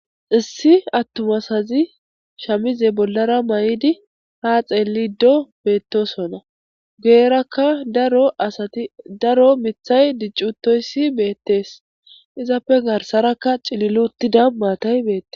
issi attum asazi shamize bollara ma7idi ha xeelido beettosona goerakka daro asati daro mithay diccutoyssi beettees izappe garsarakka cililuuttida maatay beette